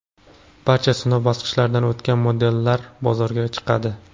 Barcha sinov bosqichlaridan o‘tgan modellar bozorga chiqadi.